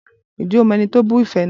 Ǹjẹ́ o mọ ẹni tó bu ife náà?